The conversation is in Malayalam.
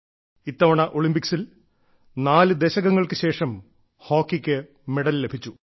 ഇത്തവണ ഒളിമ്പിക്സിൽ നാല് ദശകങ്ങൾക്കു ശേഷം ഹോക്കിക്ക് മെഡൽ ലഭിച്ചു